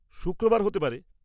শুক্রবার হতে পারে।